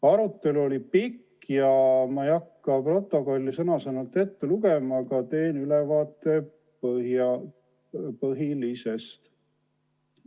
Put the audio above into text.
Arutelu oli pikk ja ma ei hakka protokolli sõna-sõnalt ette lugema, aga teen ülevaate põhilisest.